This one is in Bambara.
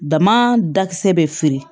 Dama dakisɛ bɛ feere